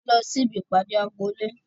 A lọ sí ibi ìpàdé agboolé